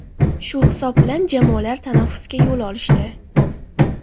Shu hisob bilan jamoalar tanaffusga yo‘l olishdi.